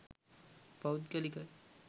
පෞද්ගලික